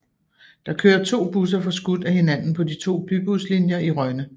Der kører to busser forskudt af hinanden på de to bybuslinjer i Rønne